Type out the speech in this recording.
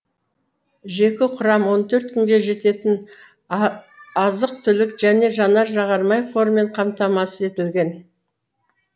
жеке құрам он төрт күнге жететін азық түлік және жанар жағармай қорымен қамтамасыз етілген